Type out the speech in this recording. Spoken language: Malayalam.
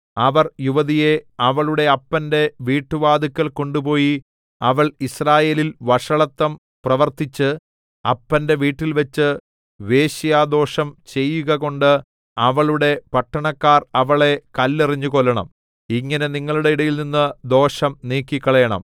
അവർ യുവതിയെ അവളുടെ അപ്പന്റെ വീട്ടുവാതില്‍ക്കൽ കൊണ്ടുപോയി അവൾ യിസ്രായേലിൽ വഷളത്തം പ്രവർത്തിച്ച് അപ്പന്റെ വീട്ടിൽവച്ച് വേശ്യാദോഷം ചെയ്യുകകൊണ്ട് അവളുടെ പട്ടണക്കാർ അവളെ കല്ലെറിഞ്ഞു കൊല്ലണം ഇങ്ങനെ നിങ്ങളുടെ ഇടയിൽനിന്ന് ദോഷം നീക്കിക്കളയണം